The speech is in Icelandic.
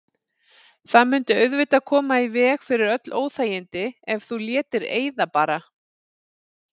Það mundi auðvitað koma í veg fyrir öll óþægindi ef þú létir eyða bara.